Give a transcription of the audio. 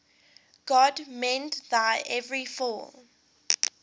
god mend thine every flaw